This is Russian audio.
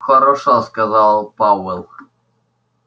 хорошо сказал пауэлл